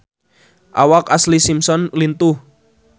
Awak Ashlee Simpson lintuh